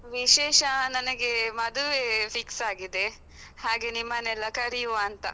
ವಿಶೇಷ, ನನಗೆ ಮದುವೆ fix ಆಗಿದೆ ಹಾಗೆ ನಿಮ್ಮನ್ನೆಲ್ಲಾ ಕರಿಯುವ ಅಂತ.